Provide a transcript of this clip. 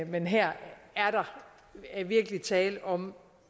men her er der virkelig tale om